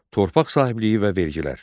Torpaq sahibliyi və vergilər.